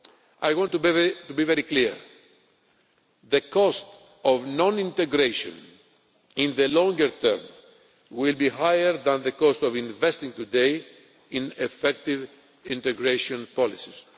I want to be very clear the cost of non integration in the longer term will be higher than the cost of investing today in effective integration policies.